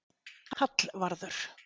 Hallvarður